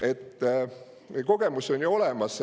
Automaksuga on kogemus ju olemas.